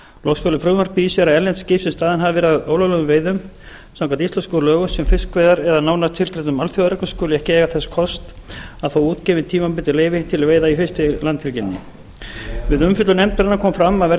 loks felur frumvarpið í sér að erlend skip sem staðin hafa verið að ólöglegum veiðum samkvæmt íslenskum lögum um fiskveiðar eða nánar tilgreindum alþjóðareglum skuli ekki eiga þess kost að fá útgefin tímabundin leyfi til veiða í fiskveiðilandhelginni við umfjöllun nefndarinnar kom fram að verði